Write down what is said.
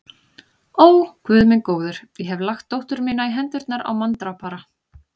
Ó, Guð minn góður, ég hef lagt dóttur mína í hendurnar á manndrápara.